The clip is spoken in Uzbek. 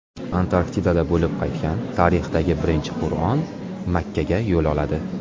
Antarktidada bo‘lib qaytgan tarixdagi birinchi Qur’on Makkaga yo‘l oladi.